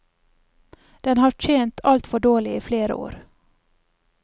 Den har tjent alt for dårlig i flere år.